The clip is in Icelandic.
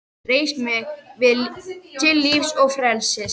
Reis mig við til lífs og frelsis!